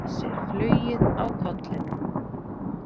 Missir flugið á kollinum.